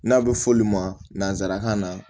N'a bɛ fɔ olu ma nanzarakan na